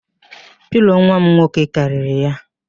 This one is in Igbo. Pilo nwam nwoke karịrị ya